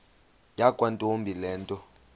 yakwantombi le nto